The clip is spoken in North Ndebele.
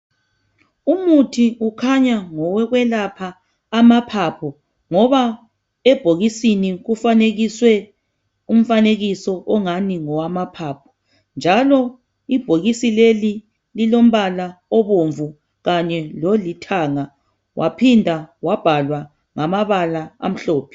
umuthi ukhanya ngowokuyelapha amaphapho ngoba ebhokisini kufanekiswe umfanekiso ongani ngowamaphapho njalo ibhokisi leli lilompala obomvu kanye lolithaga waphinda wabhalwa ngamabala amhlophe